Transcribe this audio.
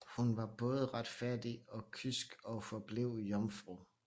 Hun var både retfærdig og kysk og forblev jomfru